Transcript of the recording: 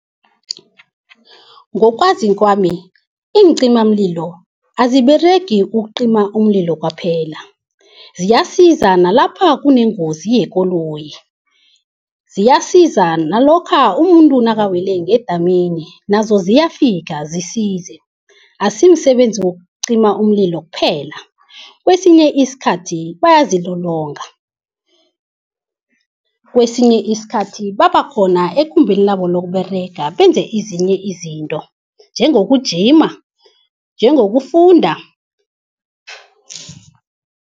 Ngokwazi kwami iincimamlilo aziberegi ukucima umlilo kwaphela, ziyasiza nalapha kunengozi yekoloyi. Ziyasiza nalokha umuntu nakuwele ngedamini, nazo ziyafika zisize. Akusimsebenzi wokucima umlilo kuphela. Kwesinye isikhathi bayazilolonga, kwesinye isikhathi babakhona ekumbeni labo lokuberega benze ezinye izinto, njengokugijima njengokufunda.